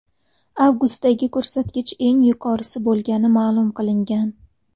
Avgustdagi ko‘rsatkich eng yuqorisi bo‘lgani ma’lum qilingan.